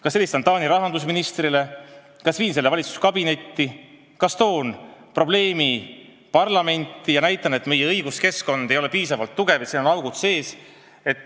Kas ma helistan Taani rahandusministrile või viin selle teema valitsuskabinetti või toon probleemi parlamendi ette ja näitan, et meie õiguskeskkond ei ole piisavalt tugev, seal on augud sees.